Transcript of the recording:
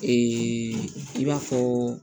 i b'a fɔ